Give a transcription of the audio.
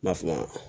N'a f'i ma